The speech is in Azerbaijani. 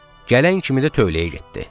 Gələn kimi də tövləyə getdi.